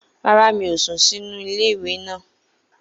Rárá, mi ò sùn sínú iléèwé náà